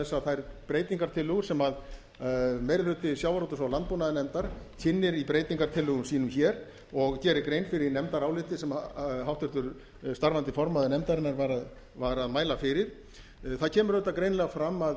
að þær breytingartillögur sem meiri hluti sjávarútvegs og landbúnaðarnefndar kynnir í breytingartillögum sínum hér og gerir grein fyrir í nefndaráliti sem háttvirtur starfandi formaður nefndarinnar var að mæla fyrir það kemur auðvitað greinilega fram að